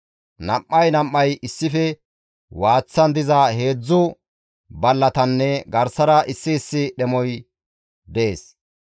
Nam7ay nam7ay issife waaththan diza heedzdzu ballatanne garsara issi issi dhemoy dees.